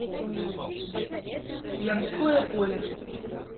ямское поле